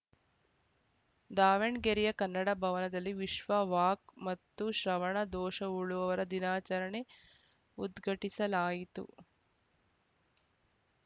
ದಾವಣಗೆರೆಯ ಕನ್ನಡ ಭವನದಲ್ಲಿ ವಿಶ್ವ ವಾಕ್‌ ಮತ್ತು ಶ್ರವಣ ದೋಷವುಳುವವರ ದಿನಾಚರಣೆ ಉದ್ಘಾಟಿಸಲಾಯಿತು